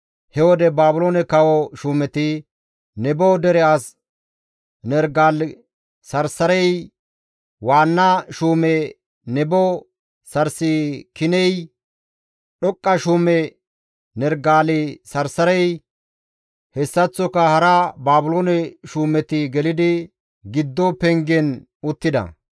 He wode Baabiloone kawo shuumeti, Nebo dere as Nerigale-Sarsarey, waanna shuume Nebo Sarsikiney, dhoqqa shuume Nerigale-Sarsarey, hessaththoka hara Baabiloone shuumeti gelidi giddo pengen uttida.